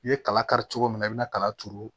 I ye kala kari cogo min na i bɛna kala turu